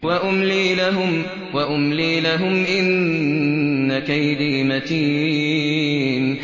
وَأُمْلِي لَهُمْ ۚ إِنَّ كَيْدِي مَتِينٌ